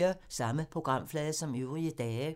Samme programflade som øvrige dage